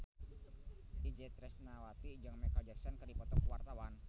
Itje Tresnawati jeung Micheal Jackson keur dipoto ku wartawan